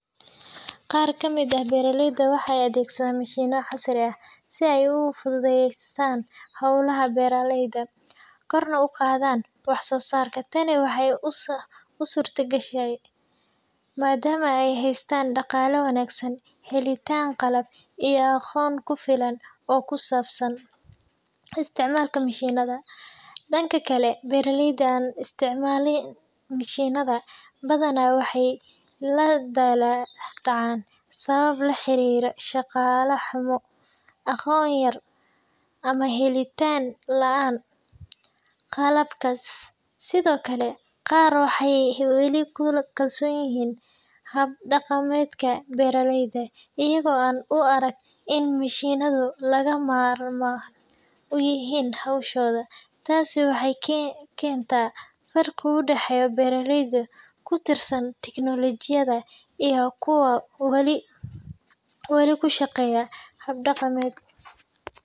Qaar ka mid ah beeraleyda waxay adeegsadaan mishiinno casri ah si ay u fududeeyaan hawlaha beeraleyda, korna ugu qaadaan wax-soosaarka. Tani waxay u suurtogeshaan maadaama ay haystaan dhaqaale wanaagsan, helitaan qalab, iyo aqoon ku filan oo ku saabsan isticmaalka mishiinada. Dhanka kale, beeraleyda aan isticmaalin mishiinada badanaa waxay la daalaa dhacaan sababo la xiriira dhaqaale xumo, aqoon yari, ama helitaan la’aan qalabkaas. Sidoo kale, qaar waxay weli ku kalsoon yihiin hab-dhaqameedka beeraleyda, iyagoo aan u arag in mishiinadu lagama maarmaan u yihiin hawshooda. Taasi waxay keentaa farqi u dhexeeya beeraleyda ku tiirsan tiknoolojiyadda iyo kuwa wali ku shaqeeya hab dhaqameed.